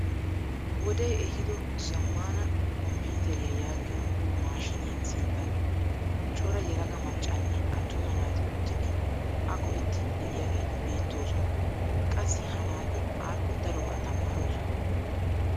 Wode ehiido zammaana komppiiteriyaa yaagiyoo maashiniyaa sinttan cora yelaga maccanne attuma naati uttidi a go"ettiidi de'iyaageti beettoosona. qassi ha naati appe darobaa tamaroosona.